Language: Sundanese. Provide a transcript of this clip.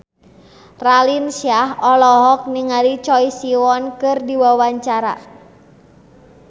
Raline Shah olohok ningali Choi Siwon keur diwawancara